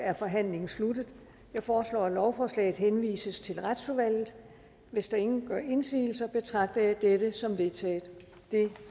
er forhandlingen sluttet jeg foreslår at lovforslaget henvises til retsudvalget hvis ingen gør indsigelse betragter jeg dette som vedtaget det